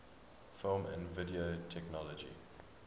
film and video technology